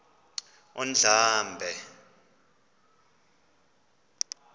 undlambe